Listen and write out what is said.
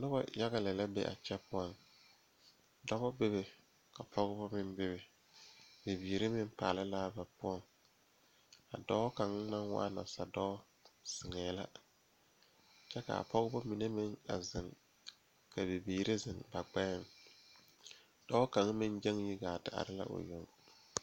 Nobɔ yaga lɛ la be a kyɛ poɔ Dɔbɔ bebe ka pɔgebɔ meŋ bebe bibiire meŋ paale laa ba poɔ a dɔɔ kaŋ naŋ waa nasadɔɔ zeŋɛɛ la kyɛ kaa pɔgebɔ mine meŋ a zeŋ ka bibiire zeŋ ba gbɛɛŋ dɔɔ kaŋ meŋ gyɛŋ yi gaa te are la o yoŋ.